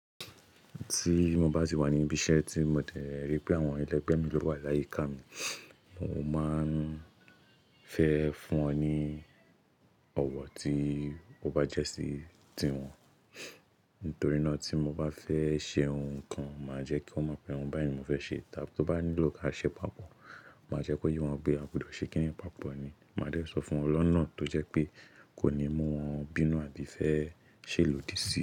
Tí mo bá sì wà ní ibi iṣẹ́ tí mo dẹ ri pé àwọn ẹlẹgbẹ́ mi lo wà láyìíká mi, mo máa ń fẹ fún wọn ní ọ̀wọ̀ tí ó bá jẹ́ sí tiwọn. Nítorí ná tí mo bá fẹ́ ṣe ohun kan, màá jẹ́ kí wọ́n mọ̀ pé oun báyìí mo fẹ́ ṣe, tábi tó bá nílò ká ṣe papọ̀, màá jẹ́ kó yé wọn pé a gbọdọ̀ ṣe kíni papọ̀ ni. Màá dẹ sọ fún wọn lọ́nà tó jẹ́ pé kò ní mú wọn bínú àbí fẹ́ ṣe lòdì sí i.